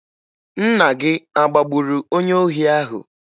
Nna gị a agbagburu onye ohi ahụ?